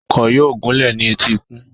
Ọkọ̀ yóò gúnlẹ̀ ní etíkun.